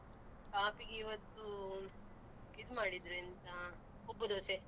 ಕಾಫಿಗೆ ಇವತ್ತು ಇದ್ ಮಾಡಿದ್ರು ಎಂತ ಉಬ್ಬು ದೋಸೆ.